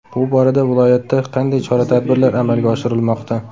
Bu borada viloyatda qanday chora-tadbirlar amalga oshirilmoqda?